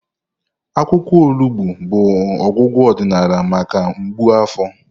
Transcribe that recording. Akwụkwọ olugbo bụ ọgwụgwọ ọdịnala maka mgbu afọ.